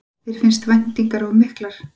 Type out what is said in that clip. Þér finnst væntingarnar of miklar?